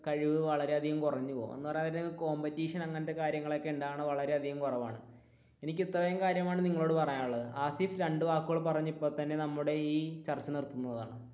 കഴിവ് വളരെയധികം കുറഞ്ഞു പോകും എന്ന് പറയാൻ നേരം competition അങ്ങനത്തെ കാര്യങ്ങൾ ഒക്കെ ഉണ്ടാവുന്നത് വളരെയധികം കുറവാണ് എനിക്ക് ഇത്രയും കാര്യമാണ് നിങ്ങളോട് പറയാനുള്ളത് ഹാസിഫ് രണ്ടു വാക്കുകൾ പറഞ്ഞു ഇപ്പൊ തന്നെ നമ്മുടെ ഈ ചർച്ച നിർത്തുന്നതാണ്.